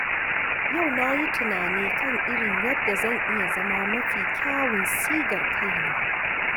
Yau na yi tunani kan irin yadda zan iya zama mafi kyawun sigar kaina.